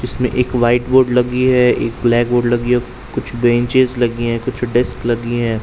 इसमें एक whiteboard लगी है। एक ब्लैक बोर्ड लगी है और कुछ ब्रांचेस लगी हुए हैं और कुछ डेस्क लगी हैं।